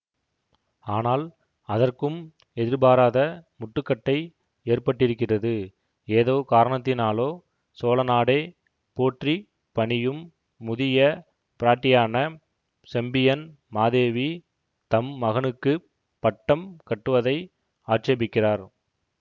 ஆனால் அதற்கும் எதிர்பாராத முட்டுக்கட்டை ஏற்பட்டிருக்கிறது ஏதோ காரணத்தினாலோ சோழ நாடே போற்றி பணியும் முதிய பிராட்டியான செம்பியன் மாதேவி தம் மகனுக்கு பட்டம் கட்டுவதை ஆட்சேபிக்கிறார்